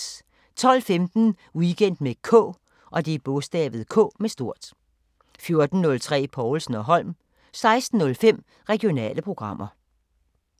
12:15: Weekend med K 14:03: Povlsen & Holm 16:05: Regionale programmer